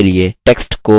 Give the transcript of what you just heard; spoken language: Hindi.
आप अक्षर के लिए